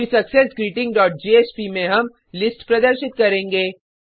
फिर success greeting dot JSP में हम लिस्ट प्रदर्शित करेंगे